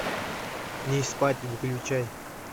не спать выключай